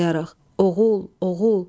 Oğul, oğul!